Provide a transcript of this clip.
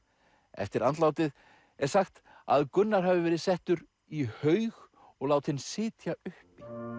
eftir andlátið er sagt að Gunnar hafi verið settur í haug og látinn sitja uppi